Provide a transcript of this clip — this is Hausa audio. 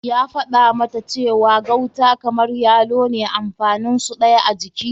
Ya faɗa mata cewa gauta kamar yalo ne amfanin su ɗaya a jiki.